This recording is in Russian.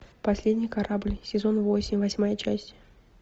последний корабль сезон восемь восьмая часть